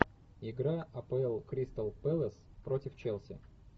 игра апл кристал пэлас против челси